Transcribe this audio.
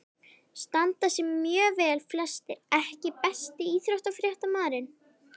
Standa sig mjög vel flestir EKKI besti íþróttafréttamaðurinn?